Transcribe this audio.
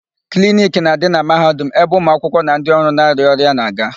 Kliniki na-adị na Mahadum ebe ụmụakwụkwọ na ndị ọrụ na-arịa ọrịa na-aga.